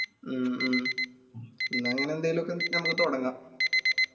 മ്മ് മ്മ് എന്ന അങ്ങനെ എന്തേലു ഒക്കെ ഞമ്മക്ക് തൊടങ്ങാ